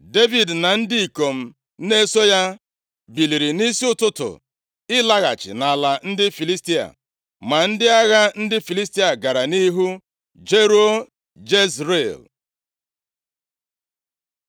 Devid na ndị ikom na-eso ya biliri nʼisi ụtụtụ ịlaghachi nʼala ndị Filistia. Ma ndị agha ndị Filistia gara nʼihu jeruo Jezril.